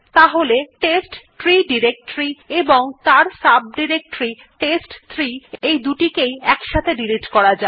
তাহলে test tree directory এবং তার সাব ডিরেক্টরী test3 এই দুটিকে একসাথে ডিলিট করা যাক